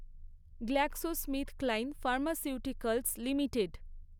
GlaxoSmithKline pharmaceuticals limited